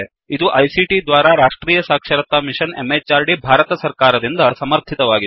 ಇದು ಐಸಿಟಿ ದ್ವಾರಾ ರಾಷ್ಟ್ರೀಯ ಸಾಕ್ಷರತಾ ಮಿಶನ್ ಎಂಎಚಆರ್ಡಿ ಭಾರತ ಸರ್ಕಾರ ದಿಂದ ಸಮರ್ಥಿತವಾಗಿದೆ